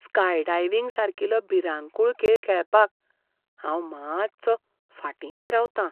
Skydiving सारकिलो भिरांकूळ खेळ खेळपाक हांव मात्सो फाटींच रावतां.